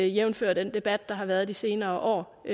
jævnfør den debat der har været de senere år